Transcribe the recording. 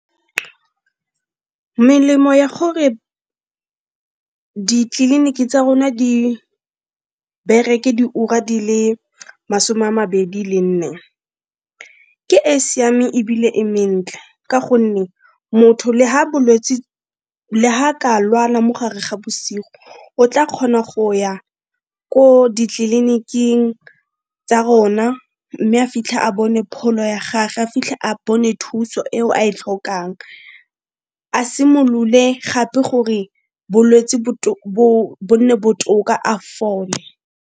Melemo ya gore ditleliniki tsa rona di bereke diura di le masome a mabedi le nne ke e e siameng ebile e mentle ka gonne motho le ga bolwetse, le ga ka lwala mo gare ga bosigo o tla kgona go ya ko ditleliniking tsa rona, mme a fitlha a bone pholo ya ga ge, a fitlhe a bone thuso eo a e tlhokang. A simolole gape gore bolwetsi bo nne botoka a fole.